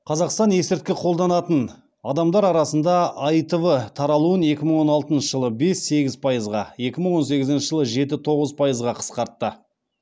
қазақстан есірткі қолданатын адамдар арасында аитв таралуын екі мың он алтыншы жылы бес сегіз пайызға екі мың он сегізінші жылы жеті тоғыз пайызға қысқартты